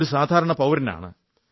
ഒരു സാധാരണ പൌരനാണ്